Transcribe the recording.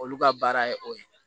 Olu ka baara ye o ye